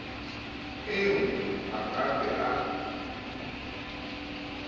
eo a ka be a